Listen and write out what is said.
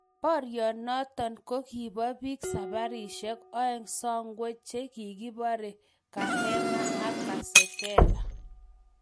Porionoton ko kipo pik saparishek oeng sokwe che kigipore kahema ak kasekela